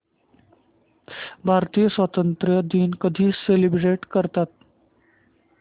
भारतीय स्वातंत्र्य दिन कधी सेलिब्रेट करतात